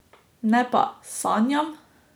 Ne pa: 'Sanjam?